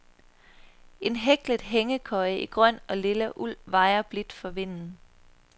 En hæklet hængekøje i grøn og lilla uld vajer blidt for vinden.